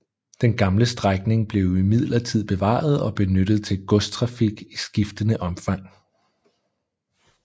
Den gamle strækning blev imidlertid bevaret og benyttet til godstrafik i skiftende omfang